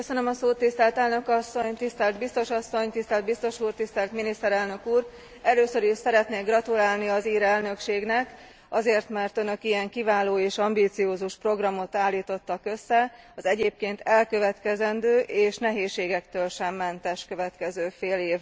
Tisztelt Elnök Asszony, Tisztelt Biztos Asszony, Tisztelt Biztos Úr, Tisztelt Miniszterelnök Úr! Először is szeretnék gratulálni az ír elnökségnek azért, mert önök ilyen kiváló és ambiciózus programot állítottak össze az elkövetkezendő és egyébként nehézségektől sem mentes következő fél évre.